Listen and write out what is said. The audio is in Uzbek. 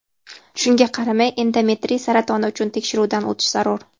Shunga qaramay endometriy saratoni uchun tekshiruvdan o‘tish zarur.